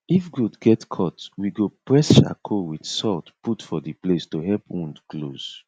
if goat get cut we go press charcoal with salt put for the place to help wound close